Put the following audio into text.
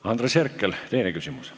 Andres Herkel, teine küsimus.